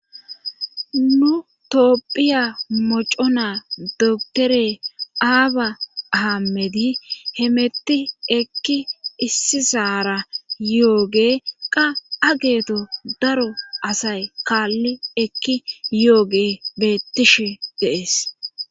nu toopphiya moco na doktore aaba hamedi hemetti ekki issi saara yooge qa ageeto daro asay kaalli ekki yooge bettishe deees